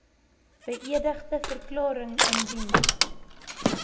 beëdigde verklaring indien